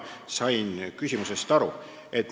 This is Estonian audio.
Sain küsimusest aru.